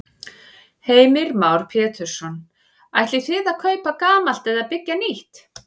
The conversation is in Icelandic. Heimir Már Pétursson: Ætlið þið að kaupa gamalt eða byggja nýtt?